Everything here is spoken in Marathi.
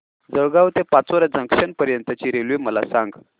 जळगाव ते पाचोरा जंक्शन पर्यंतची रेल्वे मला सांग